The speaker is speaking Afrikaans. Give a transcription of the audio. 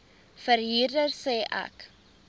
verhuurder sê ek